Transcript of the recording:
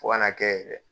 Fo ka n'a kɛ yɛrɛ